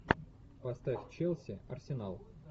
поставь челси арсенал